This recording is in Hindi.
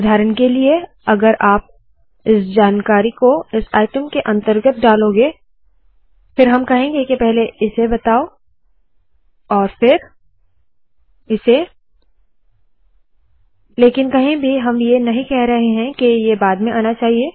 उदाहरण के लिए अगर आप इस जानकारी को इस आइटम के अंतर्गत डालोगे फिर हम कहेंगे के पहले इस बताए और फिर इसे लेकिन कहीं भी हम ये नहीं कह रहे के ये बाद में आना चाहिए